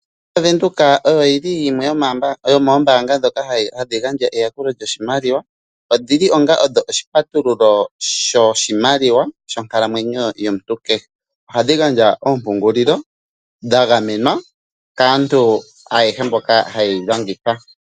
Ombaanga yaVenduka oyo yi li yimwe yomoombaanga ndhoka hadhi gandja eyakulo lyoshimaliwa. Odhi li onga odho oshipatulululo shoshimaliwa shonkalamwenyo yomuntu kehe. Ohadhi gandja oompungululo dha gamenwa kaantu ayehe mboka haye yi longitha.